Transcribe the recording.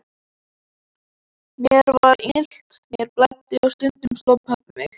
Mér var illt, mér blæddi og stundum sló pabbi mig.